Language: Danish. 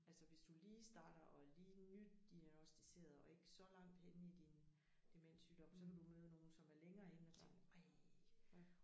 Altså hvis du lige starter og er lige nydiagnosticeret og ikke så langt henne i din demenssygdom så kan du møde nogen som er længere inde og tænke ej